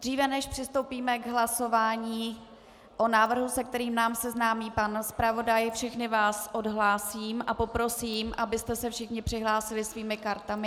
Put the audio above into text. Dříve než přistoupíme k hlasování o návrhu, s kterým nás seznámí pan zpravodaj, všechny vás odhlásím a poprosím, abyste se všichni přihlásili svými kartami.